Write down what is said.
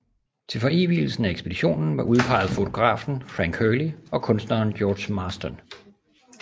Til forevigelsen af ekspeditionen var udpeget fotografen Frank Hurley og kunstneren George Marston